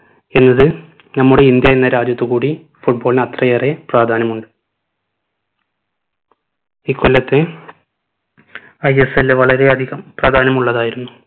എന്നത് നമ്മുടെ ഇന്ത്യ എന്ന രാജ്യത്തുകൂടി football ന് അത്രയേറെ പ്രാധാന്യം ഉണ്ട് ഇക്കൊല്ലത്തെ ISL വളരെ അധികം പ്രാധാന്യം ഉള്ളതായിരുന്നു